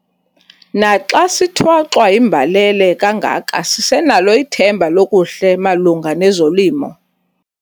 Naxa sithwaxwa yimbalele kangaka sisenalo ithemba lokuhle malunga nezolimo.